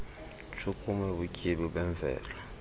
ntshukumo kubutyebi bemvelo